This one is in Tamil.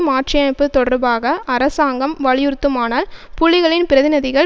மாற்றியமைப்பது தொடர்பாக அரசாங்கம் வலியுறுத்துமானால் புலிகளின் பிரதிநிதிகள்